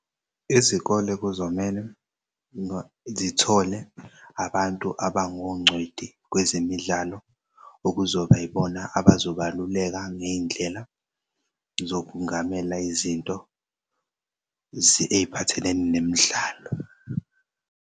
Izikole kuzomele zithole abantu abangongcweti kwezemidlalo okuzoba yibona abazobaluleka ngey'ndlela zokungamela izinto ey'phathelene nemidlalo.